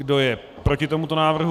Kdo je proti tomuto návrhu?